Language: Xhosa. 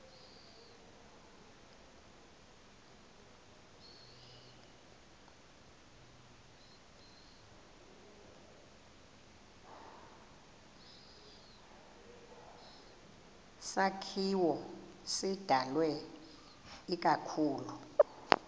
sakhiwo sidalwe ikakhulu